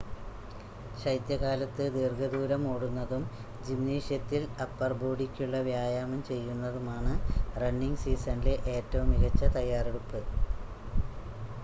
ശൈത്യകാലത്ത് ദീർഘ ദൂരം ഓടുന്നതും ജിംനേഷ്യത്തിൽ അപ്പർ ബോഡിക്കുള്ള വ്യായാമം ചെയ്യുന്നതുമാണ് റണ്ണിങ് സീസണിലെ ഏറ്റവും മികച്ച തയ്യാറെടുപ്പ്